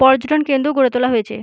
পর্যটন কেন্দ্র গড়ে তোলা হয়েছে।